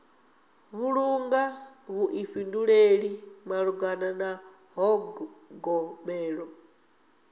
vhulunga vhuḓifhinduleli malugana na ṱhogomelo